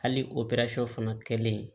Hali o fana kɛlen